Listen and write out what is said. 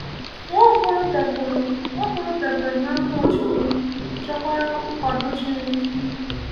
Nwaokolo dabere Nwaokolo dabere na mmụọ Chineke, chọkwara nkwado Chineke.